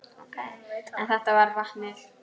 En þetta með vatnið?